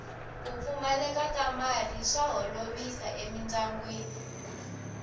ku pfumaleka ka mali swa holovisa emindyangwini